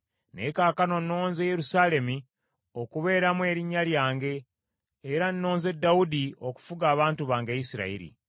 Naye kaakano nnonze Yerusaalemi okubeeramu Erinnya lyange, era nnonze Dawudi okufuga abantu bange Isirayiri.’